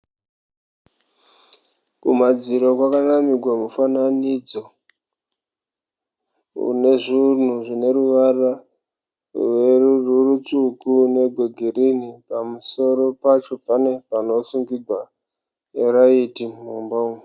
Kumadziro kwakanamirwa mufananidzo unezvinhu zvine ruvara rutsvuku negwegrini, pamusoro pacho pane panosungigwa raiti mumba umu.